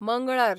मंगळार